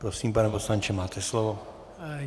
Prosím, pane poslanče, máte slovo.